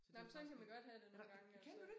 Nej men sådan kan man godt have det nogle gange altså